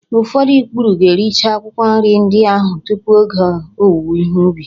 Ụfọdụ ikpuru ga-ericha akwụkwọ nri ndị ahụ tupu oge owuwe ihe ubi